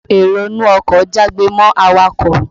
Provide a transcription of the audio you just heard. Èrò inú ọkọ̀ jágbe mọ́ awakọ̀